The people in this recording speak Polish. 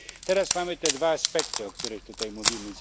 Teraz mamy te dwa aspekty, o których tutaj mówimy.